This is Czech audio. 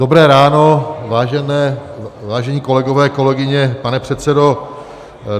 Dobré ráno, vážení kolegové, kolegyně, pane předsedo.